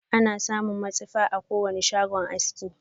Ana samun matsifa a kowane shagon aski.